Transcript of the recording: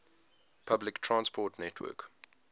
public transport network